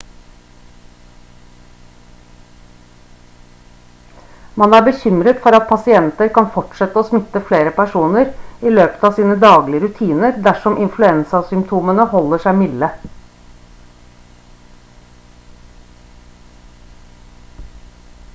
man er bekymret for at pasienter kan fortsette å smitte flere personer i løpet av sine daglige rutiner dersom influensasymptomene holder seg milde